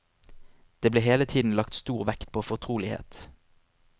Det ble hele tiden lagt stor vekt på fortrolighet.